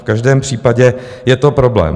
V každém případě je to problém.